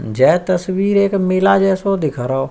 जै तस्वीर मेला जैसो दिख रहो।